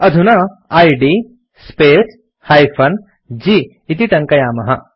अधुना इद् space -g इति टङ्कयामः